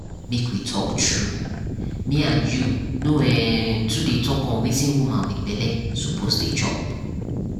make we talk tru me and you no um too dey talk on wetin woman wit belle suppose dey chop.